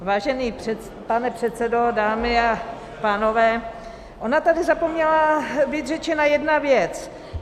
Vážený pane předsedo, dámy a pánové, ona tady zapomněla být řečena jedna věc.